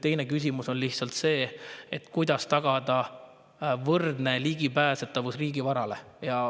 Teine küsimus on see, kuidas tagada võrdne ligipääsetavus riigivarale.